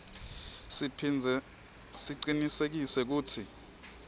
siphindze sicinisekise kutsi